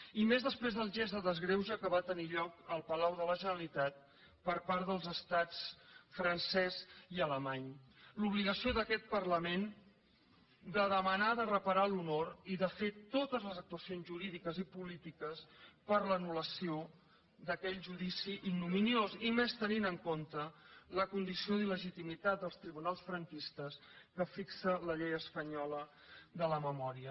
i més després del gest de desgreuge que va tenir lloc al palau de la generalitat per part dels estats francès i alemany l’obligació d’aquest parlament de demanar de reparar l’honor i de fer totes les actuacions jurídiques i polítiques per a l’anul·lació d’aquell judici ignominiós i més tenint en compte la condició d’il·legitimitat dels tribunals franquistes que fixa la llei espanyola de la memòria